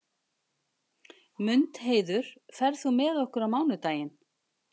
Mundheiður, ferð þú með okkur á mánudaginn?